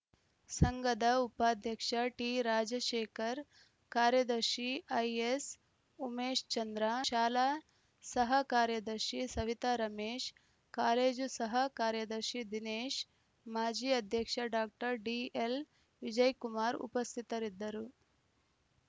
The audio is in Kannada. ಸಂಘದ ಉಪಾಧ್ಯಕ್ಷ ಟಿರಾಜಶೇಖರ್‌ ಕಾರ್ಯದರ್ಶಿ ಐಎಸ್‌ಉಮೇಶ್‌ ಚಂದ್ರ ಶಾಲಾ ಸಹ ಕಾರ್ಯದರ್ಶಿ ಸವಿತಾ ರಮೇಶ್‌ ಕಾಲೇಜು ಸಹ ಕಾರ್ಯದರ್ಶಿ ದಿನೇಶ್‌ ಮಾಜಿ ಅಧ್ಯಕ್ಷ ಡಾಕ್ಟರ್ ಡಿಎಲ್‌ವಿಜಯ್‌ ಕುಮಾರ್‌ ಉಪಸ್ಥಿತರಿದ್ದರು